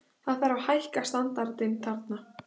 Það þarf að hækka standardinn þarna.